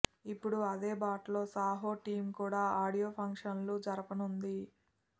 ఇప్పుడు అదే బాటలో సాహో టీం కూడా ఆడియో ఫంక్షన్లు జరపనుంది